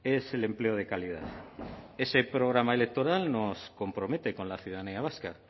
es el empleo de calidad ese programa electoral nos compromete con la ciudadanía vasca